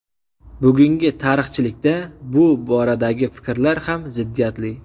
Bugungi tarixchilikda bu boradagi fikrlar ham ziddiyatli.